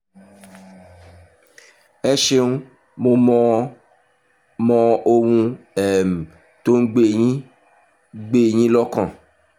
ẹ ṣeun mo mọ ohun um tó ń gbé yín gbé yín lọ́kàn